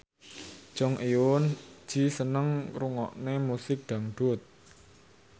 Jong Eun Ji seneng ngrungokne musik dangdut